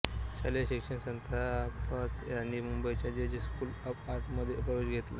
शालेय शिक्षण संपताच त्यांनी मुंबईच्या जे जे स्कूल ऑफ आर्टमध्ये प्रवेश घेतला